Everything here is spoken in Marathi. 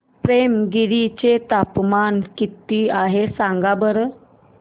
पेमगिरी चे तापमान किती आहे सांगा बरं